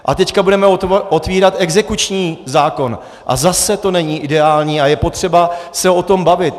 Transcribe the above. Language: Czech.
A teď budeme otevírat exekuční zákon a zase to není ideální a je potřeba se o tom bavit.